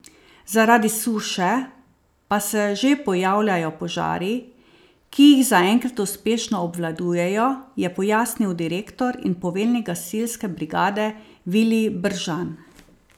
Zaradi suše pa se že pojavljajo požari, ki jih zaenkrat uspešno obvladujejo, je pojasnil direktor in poveljnik gasilske brigade Vilij Bržan.